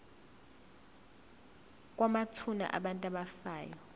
kwamathuna abantu abafa